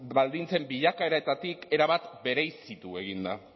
baldintzen bilakaeretatik erabat bereizitu egin da